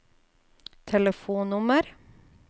telefonnummer